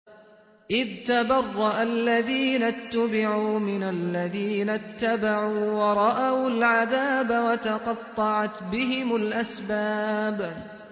إِذْ تَبَرَّأَ الَّذِينَ اتُّبِعُوا مِنَ الَّذِينَ اتَّبَعُوا وَرَأَوُا الْعَذَابَ وَتَقَطَّعَتْ بِهِمُ الْأَسْبَابُ